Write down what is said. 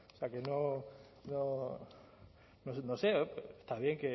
o sea que no sé está bien